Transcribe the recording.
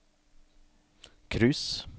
cruise